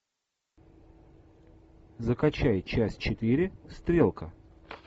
закачай часть четыре стрелка